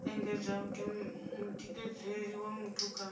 engedza mutikedzelo wa muthu kha